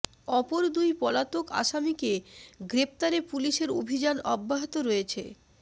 অপর দুই পলাতক আসামিকে গ্রেফতারে পুলিশের অভিযান অব্যাহত রয়েছে